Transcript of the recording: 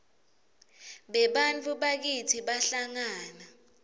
bebantfu bakitsi bahlangana